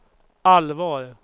allvar